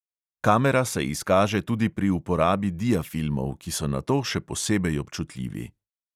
Kamera se izkaže tudi pri uporabi diafilmov, ki so na to še posebej občutljivi.